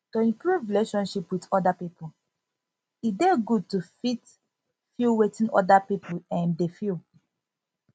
to improve relationship with oda pipo e dey good to fit feel wetin oda pipo um dey feel